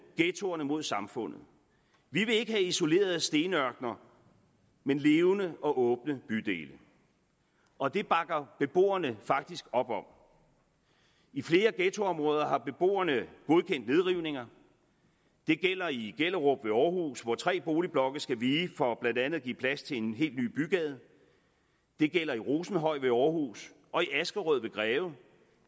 ghettoerne mod samfundet vi vil ikke have isolerede stenørkener men levende og åbne bydele og det bakker beboerne faktisk op om i flere ghettoområder har beboerne godkendt nedrivninger det gælder i gellerup ved aarhus hvor tre boligblokke skal vige for blandt andet at give plads til en helt ny bygade det gælder i rosenhøj ved aarhus og i askerød ved greve